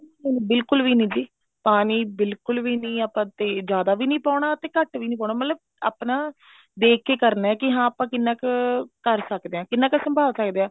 ਬਿਲਕੁਲ ਵੀ ਨੀ ਜੀ ਪਾਣੀ ਬਿਲਕੁਲ ਵੀ ਨੀ ਆਪਾਂ ਤੇ ਜਿਆਦਾ ਵੀ ਨੀ ਪਾਉਣਾ ਤੇ ਘੱਟ ਵੀ ਨੀ ਪਾਉਣਾ ਮਤਲਬ ਆਪਣਾ ਦੇਖ ਕੇ ਕਰਨਾ ਵੀ ਹਾਂ ਆਪਾਂ ਕਿੰਨਾ ਕੁ ਕਰ ਸਕਦੇ ਹਾਂ ਕਿੰਨਾ ਕੁ ਸੰਭਾਲ ਸਕਦੇ ਹਾਂ